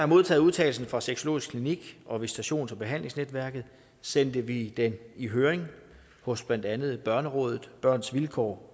modtaget udtalelsen fra sexologisk klinik og visitations og behandlingsnetværket sendte vi den i høring hos blandt andet børnerådet børns vilkår